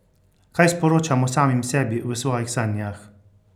Kaj sporočamo samim sebi v svojih sanjah?